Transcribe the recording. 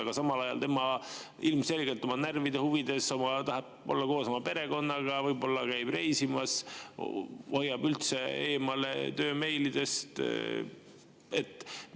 Aga samal ajal ta ilmselgelt oma närvide huvides tahab olla koos oma perekonnaga, käib reisimas, hoiab üldse eemale töömeilidest.